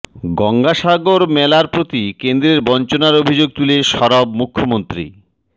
গঙ্গাসাগর মেলার প্রতি কেন্দ্রের বঞ্চনার অভিযোগ তুলে সরব মুখ্যমন্ত্রী